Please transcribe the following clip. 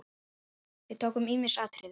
Við tókum ýmis atriði.